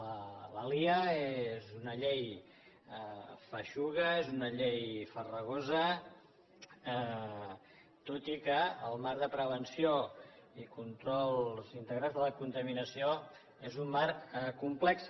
la liiaa és una llei feixuga és una llei farragosa tot i que el marc de prevenció i control integral de la contaminació és un marc complex